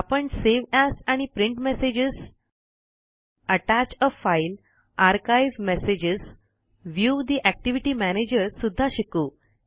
आपण save as आणि print messages अत्तच आ file archive messages view the activity manager सुद्धा शिकू